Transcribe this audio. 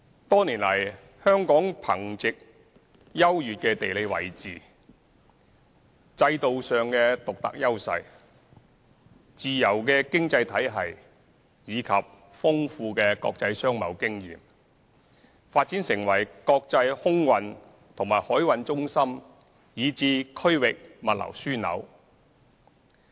多年來，香港憑藉優越的地理位置、制度上的獨特優勢、自由的經濟體系及豐富的國際商貿經驗，發展成為國際空運和海運中心以至區域物流樞紐。